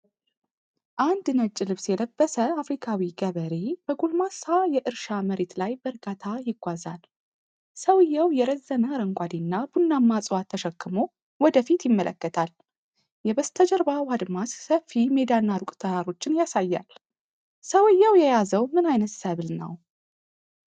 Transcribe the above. አንድ ነጭ ልብስ የለበሰ አፍሪካዊ ገበሬ በጎልማሳ የእርሻ መሬት ላይ በእርጋታ ይጓዛል። ሰውየው የረዘመ አረንጓዴና ቡናማ እፅዋት ተሸክሞ ወደ ፊት ይመለከታል፤ የበስተጀርባው አድማስ ሰፊ ሜዳና ሩቅ ተራሮችን ያሳያል፤ ሰውየው የያዘው ምን አይነት ሰብል ነው?